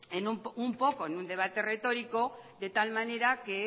en un poco en un debate retórico de tal manera